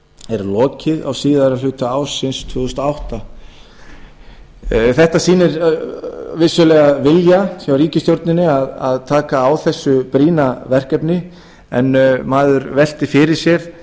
er lokið á síðari hluta ársins tvö þúsund og átta þetta sýnir vissulega vilja hjá ríkisstjórninni að taka á þessu brýna verkefni en maður veltir fyrir sér